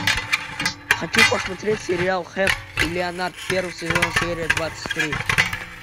хочу посмотреть сериал хэп и леонард первый сезон серия двадцать три